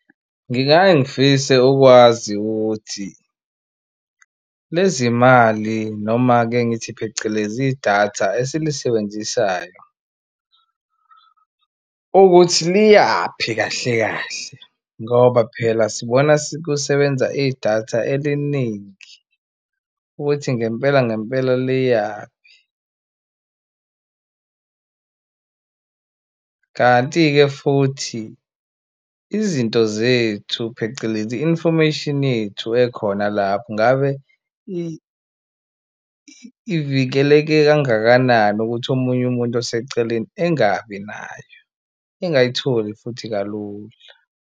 Ngingake ngifise ukwazi ukuthi lezi mali noma-ke ngithi phecelezi idatha esilisebenzisayo ukuthi liyaphi kahle kahle ngoba phela sibona sikusebenza idatha eliningi ukuthi ngempela ngempela liyaphi? Kanti-ke futhi izinto zethu phecelezi i-information yethu ekhona lapho ngabe ivikeleke kangakanani ukuthi omunye umuntu oseceleni engabi nayo engayitholi futhi kalula.